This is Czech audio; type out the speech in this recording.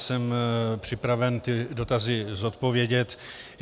Jsem připraven ty dotazy zodpovědět.